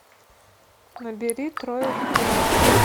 набери трое в коме